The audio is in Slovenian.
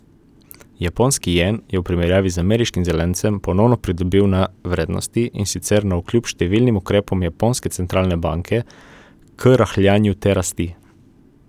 Japonski jen je v primerjavi z ameriškim zelencem ponovno pridobil na vrednosti, in sicer navkljub številnim ukrepom japonske centralne banke k rahljanju te rasti.